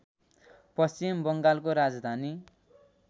पश्चिम बङ्गालको राजधानी